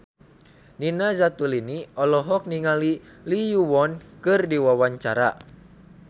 Nina Zatulini olohok ningali Lee Yo Won keur diwawancara